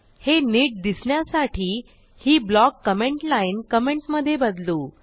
हे नीट दिसण्यासाठी ही ब्लॉक कमेंट lineकमेंटमधे बदलू